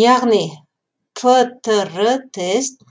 яғни птр тест